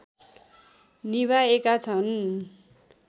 निभाएका छन्